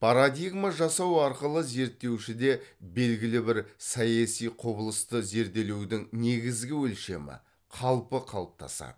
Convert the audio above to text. парадигма жасау арқылы зерттеушіде белгілі бір саяси құбылысты зерделеудің негізгі өлшемі қалпы қалыптасады